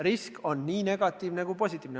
Risk on nii negatiivne kui ka positiivne.